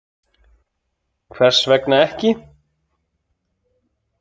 Hvers vegna ekki